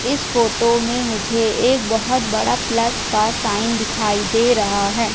इस फोटो में मुझे एक बहोत बड़ा प्लस का साइन दिखाई दे रहा है।